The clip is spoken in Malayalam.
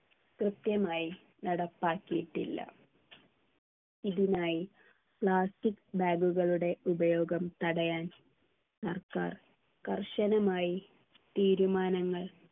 കൃത്യമായി നടപ്പാക്കിയിട്ടില്ല ഇതിനായി plastic bag കളുടെ ഉപയോഗം തടയാൻ സർക്കാർ കർശനമായി തീരുമാനങ്ങൾ